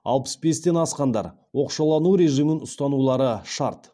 алпыс бестен асқандар оқшаулану режимін ұстанулары шарт